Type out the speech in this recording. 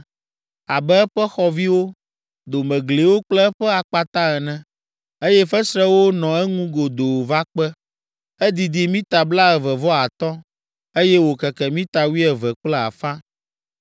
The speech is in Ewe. abe eƒe xɔviwo, domegliwo kple eƒe akpata ene, eye fesrewo nɔ eŋu godoo va kpe. Edidi mita blaeve vɔ atɔ̃, eye wòkeke mita wuieve kple afã.